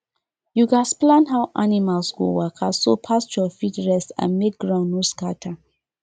you gats plan how animals go waka so pasture fit rest and make ground no scatter